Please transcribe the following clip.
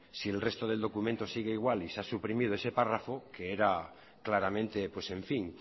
si el resto del documento sigue igual y se ha suprimido ese párrafo que era claramente pues en fin